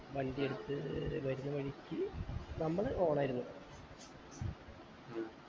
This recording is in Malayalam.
വണ്ടി എടുത്ത് വരുന്ന വഴിക്കു നമ്മള് on ആയിരുന്നു